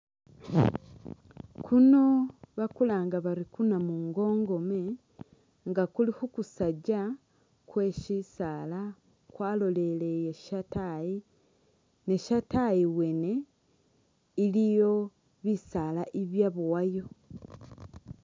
Kuno bakulanga bari kuna'mungongome nga kuli khu kusajja kwe shisaala kwalolelele shataayi ne shataayi wene iliyo bisaala ibyabowayo